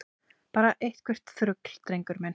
Bara eitthvert þrugl, drengur minn.